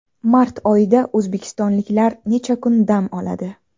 Mart oyida o‘zbekistonliklar necha kun dam oladi?.